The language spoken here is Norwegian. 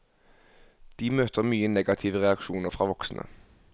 De møter mye negative reaksjoner fra voksne.